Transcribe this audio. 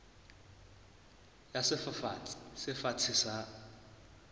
ya sefafatsi se fatshe sa